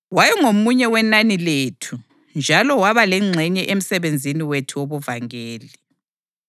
Wayengomunye wenani lethu njalo waba lengxenye emsebenzini wethu wobuvangeli.”